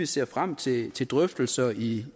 ser frem til til drøftelser i